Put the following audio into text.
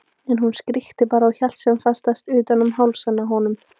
En hún skríkti bara og hélt sem fastast utan um hálsinn á honum.